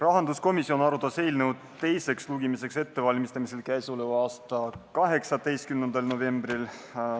Rahanduskomisjon arutas eelnõu teise lugemise ettevalmistamisel k.a 18. novembril.